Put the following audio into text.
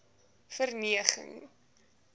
verneging